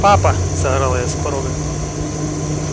папа заорала я с порога